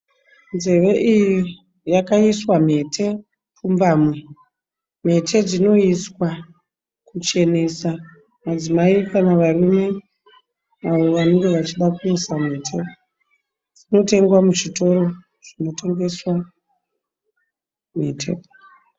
Nzeve iyi yakaiswa mhete pfumbamwe. Mhete dzinoiswa kuchenesa madzimai kana varume avo vanenge vachida kuisa mhete. Dzinotengwa muzvitoro zvinotengeswa mhete.